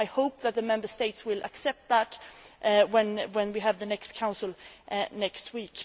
I hope that the Member States will accept that when we have the next Council next